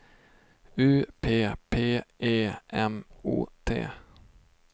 U P P E M O T